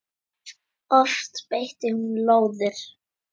Oft beitti hún lóðir.